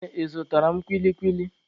Nne, ị zụtara m kwili kwili?